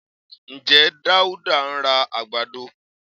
Ǹjẹ́ Dáúdá ń ra àgbàdo?